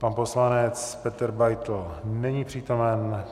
Pan poslanec Petr Beitl není přítomen.